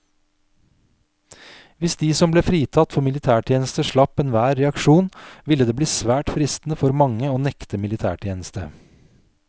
Hvis de som ble fritatt for militærtjeneste slapp enhver reaksjon, ville det bli svært fristende for mange å nekte militætjeneste.